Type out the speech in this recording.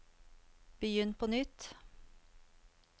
begynn på nytt